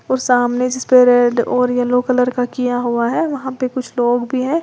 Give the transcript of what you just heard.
और सामने जिसपे रेड और येलो कलर का किया हुआ है वहां पर कुछ लोग भी हैं।